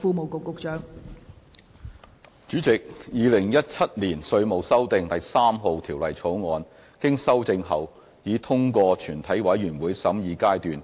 代理主席，《2017年稅務條例草案》經修正已通過全體委員會審議階段。